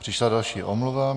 Přišla další omluva.